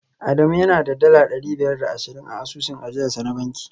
Adamu yana da dala dari biyar da ashirin a asusun ajiyarsa na banki